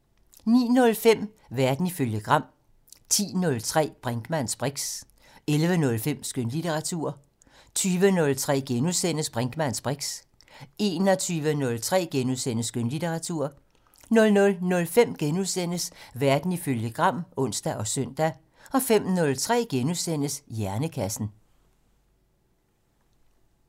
09:05: Verden ifølge Gram 10:03: Brinkmanns briks 11:03: Skønlitteratur 20:03: Brinkmanns briks * 21:03: Skønlitteratur * 00:05: Verden ifølge Gram *(ons og søn) 05:03: Hjernekassen *